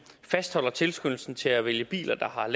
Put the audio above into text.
fastholder tilskyndelsen til at vælge biler der har